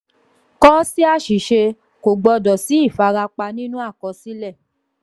kò sí àṣìṣe kò gbọdọ̀ sí ìfarapa nínú àkọsílẹ̀.